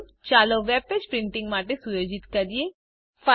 પ્રથમ ચાલો આ વેબપેજ પ્રિન્ટીંગ માટે સુયોજિત કરીએ